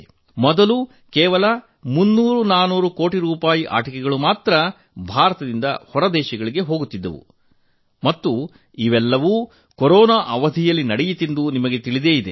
ಮೊದಲು ಕೇವಲ 300400 ಕೋಟಿ ರೂಪಾಯಿ ಆಟಿಕೆಗಳು ಮಾತ್ರಾ ಭಾರತದಿಂದ ಹೊರದೇಶಗಳಿಗೆ ಹೋಗುತ್ತಿದ್ದವು ಮತ್ತು ಇದೆಲ್ಲವೂ ಕೊರೋನಾ ಅವಧಿಯಲ್ಲಿ ನಡೆಯಿತೆಂದು ನಿಮಗೆ ತಿಳಿದಿದೆ